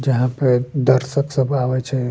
जहाँ पे दर्शक सब आबे छै।